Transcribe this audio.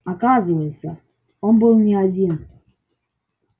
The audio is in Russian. оказывается он был не один